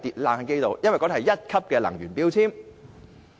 因為那是1級能源標籤。